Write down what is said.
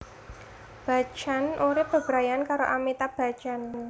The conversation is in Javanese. Bachchan urip bebrayanan karo Amitabh Bachchan